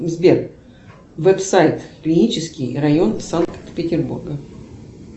сбер веб сайт клинический район санкт петербурга